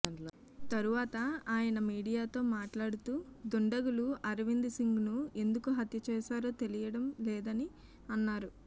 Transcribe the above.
తరువాత ఆయన మీడియాతో మాట్లాడుతూ దుండగులు అరవింద్ సింగ్ ను ఎందుకు హత్య చేశారో తెలియడం లేదని అన్నారు